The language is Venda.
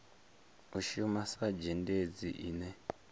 u shuma sa zhendedzi ine